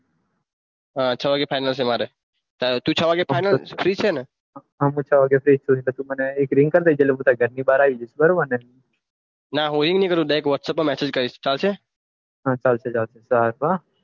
હા છ વાગે ફાઈનલ છે મારે તું છ વાગે ફાઈનલ ફ્રી છે ને હા હું છ વાગે ફ્રી છું પછી એક રીગ કર દેજે તારા ઘર ની બાર આવીશ જઈસ બરાબરને નાહુ એ ની કરું વોટ્સએપ મેસેજ કરીસ ચાલશે હા ચાલશે